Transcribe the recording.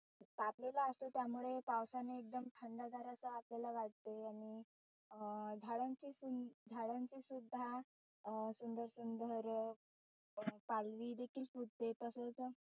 तापलेला असतो त्यामुळे पावसाने एकदम थंडगार असं आपल्याला वाटतं आणि अं झाडांची सुं झाडांची सुद्धा अं सुंदर सुंदर पालवी देखील फुटते तसेच